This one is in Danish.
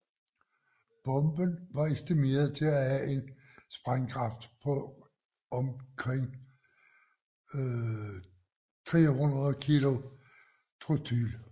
Bomben var estimeret til at have en sprængkraft på omkring 300 kilo TNT